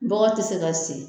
Bɔgɔ te se ka segin.